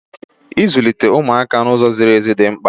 Ịzụlite umuaka n’ụzọ ziri ezi di mkpa